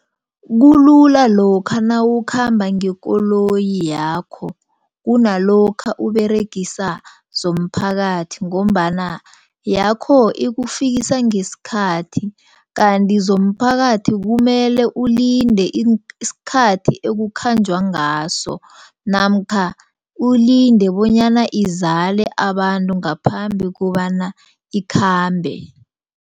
Kulula lokha nawukhamba ngekoloyi yakho, kunalokha uberegisa zomphakathi ngombana yakho ikufikisa ngesikhathi. Kanti zomphakathi kumele ulinde isikhathi ekukhanjwa ngaso namkha ulinde bonyana izala abantu ngaphambi kobana ikhambe.